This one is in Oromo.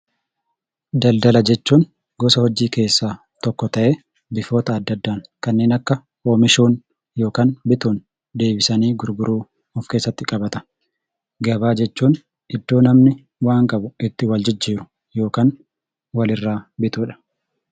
Daldala jechuun gosa hojii keessaa tokko ta'ee, bifoota adda addaan kanneen akka oomishuun yookaan bituun deebisanii gurguruu of keessatti qabata. Gabaa jechuun iddoo namni waan qabu itti wal jijjiiru yookaan walirraa bitudha.